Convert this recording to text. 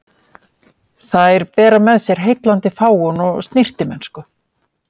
Þær bera með sér heillandi fágun og snyrtimennsku.